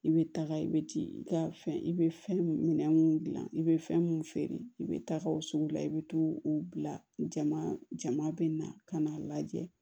I bɛ taga i bɛ ti i ka fɛn i bɛ fɛn minɛn mun dilan i bɛ fɛn mun feere i bɛ taa o sugu la i bɛ to o bila jama jama bɛ na ka n'a lajɛ